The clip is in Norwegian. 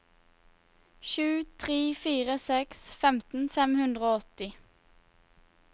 sju tre fire seks femten fem hundre og åtti